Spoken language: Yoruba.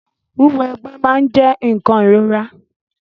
Wíwọ egbé máa n jẹ nkan ìrora.